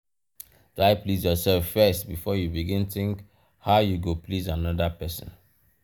try please yourself first before you begin think how you go please another persin